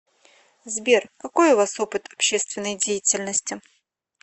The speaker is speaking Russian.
сбер какой у вас опыт общественной деятельности